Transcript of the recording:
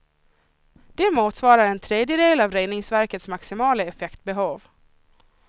Det motsvarar en tredjedel av reningsverkets maximala effektbehov.